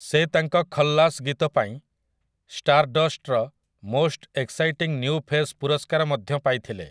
ସେ ତାଙ୍କ 'ଖଲ୍ଲାସ୍' ଗୀତ ପାଇଁ ଷ୍ଟାରଡଷ୍ଟର 'ମୋଷ୍ଟ ଏକ୍ସାଇଟିଂ ନିଉ ଫେସ୍' ପୁରସ୍କାର ମଧ୍ୟ ପାଇଥିଲେ ।